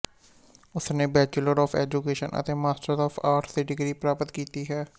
ਉਸਨੇ bachelor of education ਅਤੇ master of arts ਦੀ ਡਿਗਰੀ ਪ੍ਰਾਪਤ ਕੀਤੀ ਹੈ